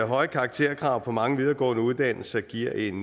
høje karakterkrav på mange videregående uddannelser giver en